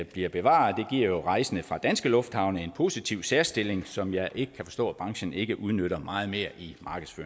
bliver bevaret det giver jo rejsende fra danske lufthavne en positiv særstilling som jeg ikke kan forstå at branchen ikke udnytter meget mere i